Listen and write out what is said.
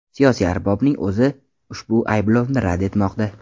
Siyosiy arbobning o‘zi ushbu ayblovni rad etmoqda.